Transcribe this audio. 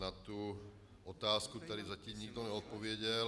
Na tu otázku tady zatím nikdo neodpověděl.